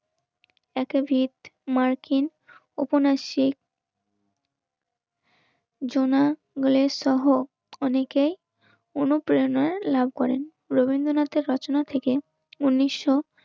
একটা ভিট, মার্কিন, উপন্যাসী, জোনা, গ্লেস সহ অনেকের অনুপ্রেরণায় লাভ করেন. রবীন্দ্রনাথের প্রার্থনা থেকে উনিশশো